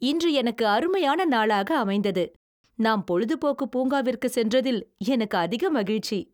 இன்று எனக்கு அருமையான நாளாக அமைந்தது. நாம் பொழுதுபோக்கு பூங்காவிற்கு சென்றதில் எனக்கு அதிக மகிழ்ச்சி.